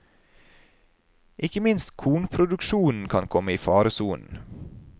Ikke minst kornproduksjonen kan komme i faresonen.